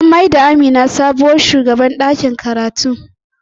An mai da Amina sabuwar shugabar ɗakin karatu.